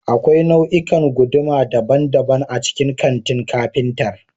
Akwai nau'ikan guduma daban-daban a cikin kantin kafintar